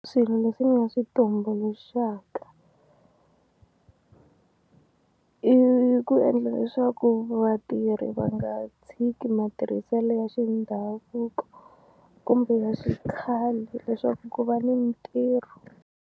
Swilo leswi ni nga swi tumbuluxaka i ku endla leswaku vatirhi va nga tshiki matirhiselo ya xindhavuko kumbe ya xikhale leswaku ku va ni mitirho.